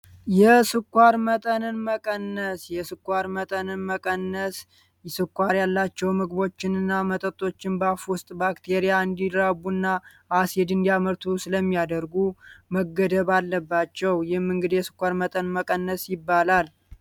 የስኳር መጠንን መቀነስ የስኳር መጠንን መቀነስ የስኳር ያላቸው ምግቦችን እና መጠጦችን በአፉ ውስጥ ባክቴሪያ እንዲድራቡ እና አስድ እንዲአመርቱ ስለሚያደርጉ መገደብ አለባቸው። ይህም እንግዲ የስኳር መጠን መቀነስ ይባላል።